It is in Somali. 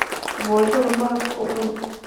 Poshoda marag kucun.